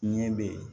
Ɲɛ bɛ yen